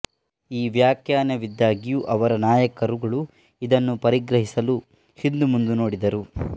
ಈ ವ್ಯಾಖ್ಯಾನವಿದ್ದಾಗ್ಯೂ ಅವರ ನಾಯಕರುಗಳು ಇದನ್ನು ಪರಿಗ್ರಹಿಸಲು ಹಿಂದುಮುಂದು ನೋಡಿದರು